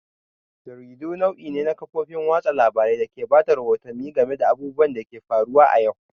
Jaridu nau'i ne na kafofin watsa labarun dake bada rahoto game da abubuwan da ke faruwa a yau.